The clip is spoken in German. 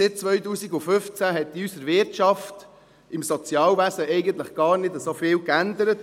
Seit 2015 hat sich in unserer Wirtschaft, im Sozialwesen, eigentlich gar nicht so viel geändert.